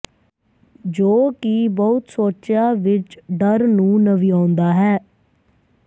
ਜੋ ਕਿ ਬਹੁਤ ਸੋਚਿਆ ਵਿੱਚ ਡਰ ਨੂੰ ਨਵਿਆਉਂਦਾ ਹੈ